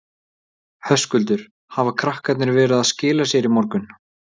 Höskuldur: Hafa krakkarnir verið að skila sér í morgun?